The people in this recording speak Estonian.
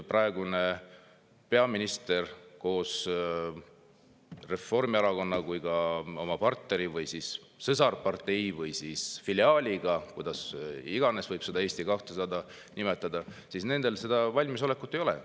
Praegusel peaministril koos Reformierakonna ja oma partneri või sõsarpartei või filiaaliga – kuidas iganes Eesti 200‑t nimetada – valmisolekut tagasi astuda ja uuesti tulla ei ole.